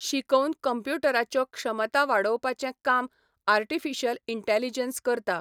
शिकोवन कंप्युटराच्यो क्षमता वाडोवपाचें काम आर्टीफिशियल इंटेलिजंस करता